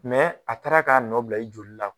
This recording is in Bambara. a taara k'a nɔ bila i joli la